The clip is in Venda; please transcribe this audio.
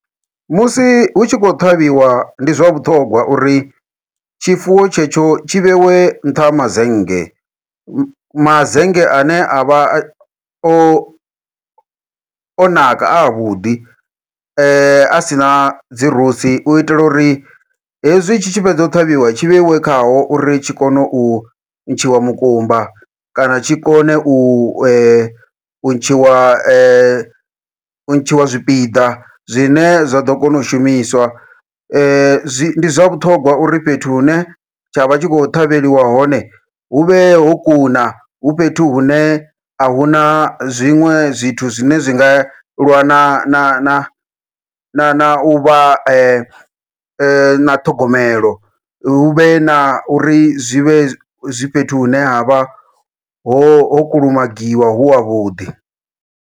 Musi hutshi khou ṱhavhiwa ndi zwa vhuṱhongwa uri tshifuwo tshetsho tshi vhewe nṱha ha mazennge, mazennge ane avha o o o naka avhuḓi asina dzi rosi uitela uri hezwi tshi tshi fhedza u ṱhavhiwa tshi vheiwe khao, uri tshi kone u ntshiwa mukumba kana tshi kone u ntshiwa u ntshiwa zwipiḓa zwine zwa ḓo kona u shumiswa. Zwi ndi zwa vhuṱhongwa uri fhethu hune tshavha tshi khou ṱhavheliwa hone huvhe ho kuna hu fhethu hune ahuna zwiṅwe zwithu zwine zwa zwi nga lwa na na na na na uvha na ṱhogomelo, huvhe na uri zwi vhe zwi fhethu hune ha vha ho kulumagiwa hu havhuḓi.